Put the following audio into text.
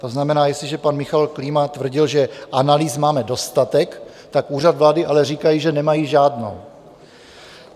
To znamená, jestliže pan Michal Klíma tvrdil, že analýz máme dostatek, tak Úřad vlády ale říká, že nemají žádnou.